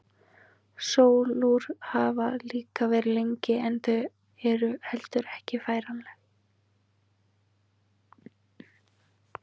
Sólúr hafa líka verið til lengi en þau eru heldur ekki færanleg.